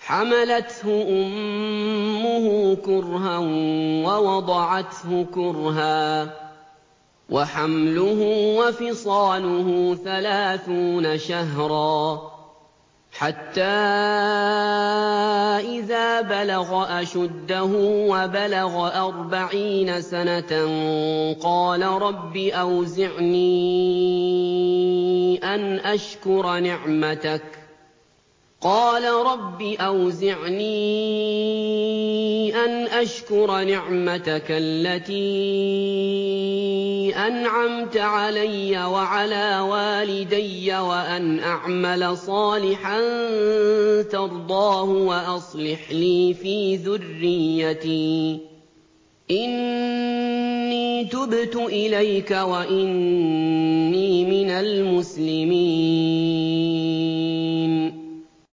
حَمَلَتْهُ أُمُّهُ كُرْهًا وَوَضَعَتْهُ كُرْهًا ۖ وَحَمْلُهُ وَفِصَالُهُ ثَلَاثُونَ شَهْرًا ۚ حَتَّىٰ إِذَا بَلَغَ أَشُدَّهُ وَبَلَغَ أَرْبَعِينَ سَنَةً قَالَ رَبِّ أَوْزِعْنِي أَنْ أَشْكُرَ نِعْمَتَكَ الَّتِي أَنْعَمْتَ عَلَيَّ وَعَلَىٰ وَالِدَيَّ وَأَنْ أَعْمَلَ صَالِحًا تَرْضَاهُ وَأَصْلِحْ لِي فِي ذُرِّيَّتِي ۖ إِنِّي تُبْتُ إِلَيْكَ وَإِنِّي مِنَ الْمُسْلِمِينَ